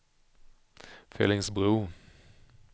Fellingsbro